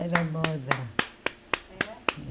Era moda. É